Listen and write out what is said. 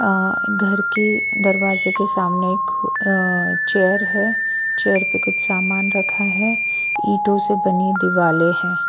अ घर के दरवाजे के सामने एक अ चेयर है चेयर पर कुछ सामान रखा है ईंटों से बनी दिवाले हैं।